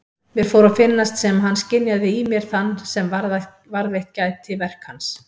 Mér fór að finnast sem hann skynjaði í mér þann sem varðveitt gæti verk hans.